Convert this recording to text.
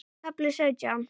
KAFLI SAUTJÁN